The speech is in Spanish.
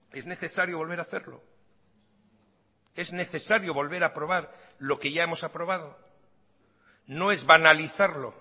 es necesario volver a hacerlo es necesario volver a aprobar lo que ya hemos aprobado no es banalizarlo